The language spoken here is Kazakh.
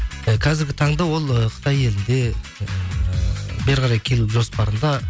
і қазіргі таңда ол ы қытай елінде ііі бері қарай келу жоспарында